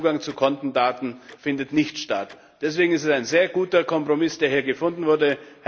Das heißt, Zugang zu Kontendaten findet nicht statt. Deswegen ist das ein sehr guter Kompromiss, der hier gefunden wurde.